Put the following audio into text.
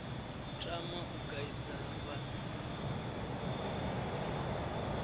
tama u kaidza vhanna na